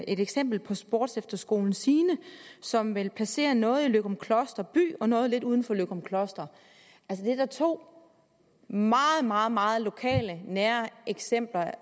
et eksempel på sportsefterskolen sine som vil placere noget i løgumkloster by og noget lidt uden for løgumkloster det er da to meget meget meget lokale nære eksempler